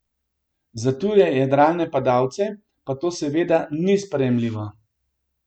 Za tuje jadralne padalce pa to seveda ni sprejemljivo.